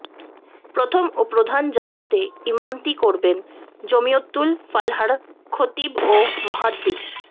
প্রথম ও প্রধান জামাতে ইমামতি করবেন জমিয়তুল ফালাহ্র খতিব ও মুহাদ্দিস